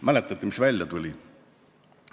Mäletate, mis välja tuli?